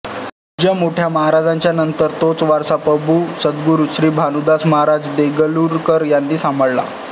पूज्य मोठ्या महाराजांच्या नंतर तोच वारसा प पू सद्गुरू श्री भानुदासमहाराज देगलूरकर यांनी सांभाळला